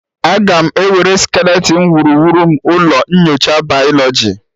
Aga m ewere skeleton wuruwuru m ụlọ nyocha bayoloji